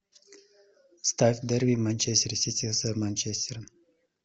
ставь дерби манчестер сити с манчестером